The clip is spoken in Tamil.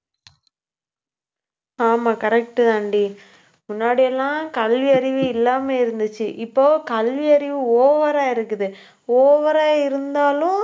ஆமா correct தான்டி முன்னாடி எல்லாம் கல்வியறிவு இல்லாம இருந்துச்சு. இப்போ கல்வியறிவு over ஆ இருக்குது. over ஆ இருந்தாலும்